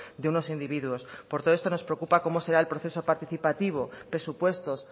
de unos individuos por todo esto nos preocupa cómo será el proceso participativo presupuestos